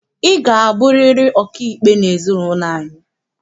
Ị ga-abụriri ọkaikpe n'ezinaụlọ anyị!